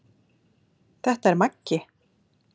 Þetta er Maggi!